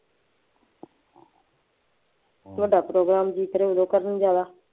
ਮੈਂ ਕਿਹਾ ਦੱਸ ਦਿਉ ਕੇਰਾਂ ਕੀ ਕਰੋਂਗੇ ਜੋ ਕਰਨੀ ਜ਼ਿਆਦਾ